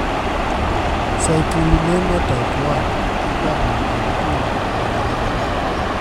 citrullinemia type I igamo nade kowuok kuom anyuola?